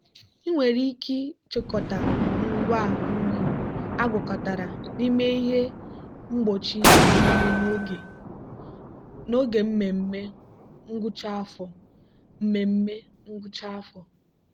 ị nwere ike chịkọta ngwa nri agwakọtara n'ime ihe mgbochi onyinye n'oge mmemme ngwụcha afọ. mmemme ngwụcha afọ.